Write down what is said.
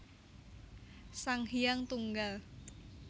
Sang Hyang Tunggal